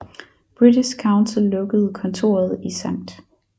British Council lukkede kontoret i Skt